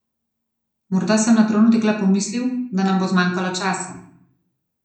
Morda sem na trenutek le pomislil, da nam bo zmanjkalo časa.